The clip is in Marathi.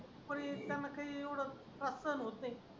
पण त्यांना काही येवढा त्रास सहन होत नाही.